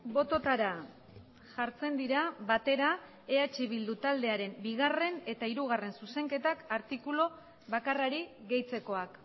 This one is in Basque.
bototara jartzen dira batera eh bildu taldearen bigarren eta hirugarren zuzenketak artikulu bakarrari gehitzekoak